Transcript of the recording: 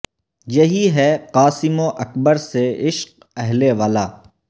یہی ہے قاسم و اکبر سے عشق اہل ولا